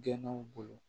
Gɛnnaw bolo